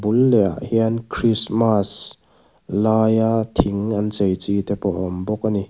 bul leh ah hian christmas laia thing an chei chi te pawh a awm bawk ani.